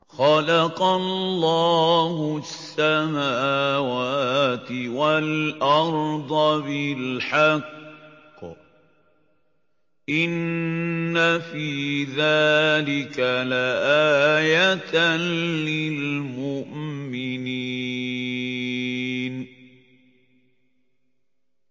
خَلَقَ اللَّهُ السَّمَاوَاتِ وَالْأَرْضَ بِالْحَقِّ ۚ إِنَّ فِي ذَٰلِكَ لَآيَةً لِّلْمُؤْمِنِينَ